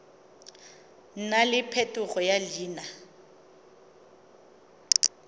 nna le phetogo ya leina